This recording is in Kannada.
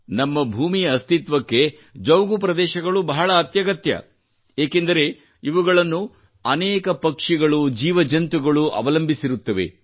ನಮ್ಮ ಭೂಮಿಯ ಅಸ್ತಿತ್ವಕ್ಕೆ ಜೌಗು ಪ್ರದೇಶಗಳು ಬಹಳ ಅತ್ಯಗತ್ಯ ಏಕೆಂದರೆ ಇವುಗಳನ್ನು ಅನೇಕ ಪಕ್ಷಿಗಳು ಜೀವಜಂತುಗಳು ಅವಲಂಬಿಸಿರುತ್ತವೆ